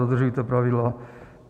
Dodržujte pravidla!